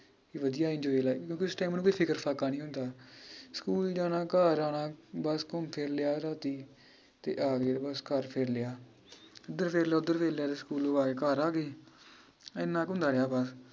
ਵਧੀਆ enjoy ਕਿਉਂਕਿ ਇਸ ਸਮੇਂ ਕੋਈ ਫਿਕਰ ਫਾਕਾ ਨੀ ਹੁੰਦਾ ਸਕੂਲ ਜਾਣਾ ਘਰ ਆਣਾ ਬੱਸ ਘੁੱਮ ਫਿਰ ਲਿਆ ਰਾਤੀ ਤੇ ਆਗਏ ਬਸ ਘਰ ਫਿਰਲਿਆ ਏਧਰ ਫੇਰ ਲਿਆ ਓਧਰ ਫੇਰ ਲਿਆ ਤੇ ਸਕੂਲੋ ਆਕੇ ਘਰ ਆਗੈ ਇਹਨਾਂ ਕੁ ਹੁੰਦਾ ਹੀ ਆਪਣਾ